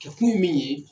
Kɛkun ye min ye